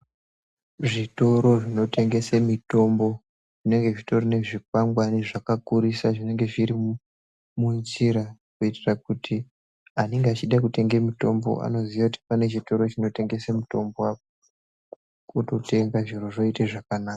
Zvitoro zvinotengese mitombo zvinenge zvitori nezvikwangwari zvakakurisa zvinenge zviri munjira. Kuitira kuti anenge echida kutenga mutombo anoziya kuti pane chitoro chinotengese mutombo apo. Ototenga, zviro zvoite zvakanaka.